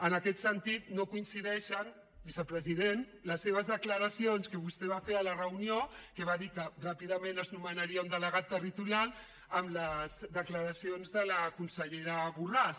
en aquest sentit no coincideixen vicepresident les seves declaracions que vostè va fer a la reunió que va dir que ràpidament es nomenaria un delegat territorial amb les declaracions de la consellera borràs